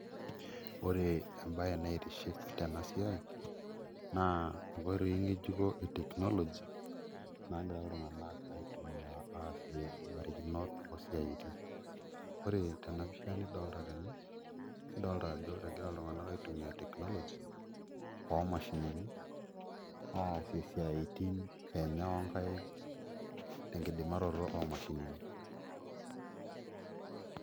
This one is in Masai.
Oore embaye naitiship teena siai naa inkoitoi ng'ejuko ee technology nagira iltung'anak aitumia aasie imbarikinot oo siaitin. Oore teena pisha nidolta teene nidolta aajo egira iltung'anak aitumia technology oo mashinini, aasie isiaitin eenye onkaik, tenkidimaroto oo mashinini.